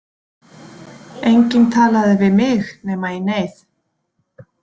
Enginn talaði við mig nema í neyð.